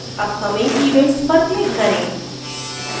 upcoming events पर click करें